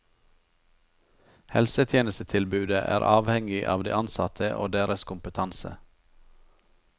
Helsetjenestetilbudet er avhengig av de ansatte og deres kompetanse.